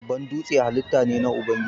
Babban dūtse halitta na Ubangiji ne.